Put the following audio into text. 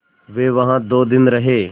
वे वहाँ दो दिन रहे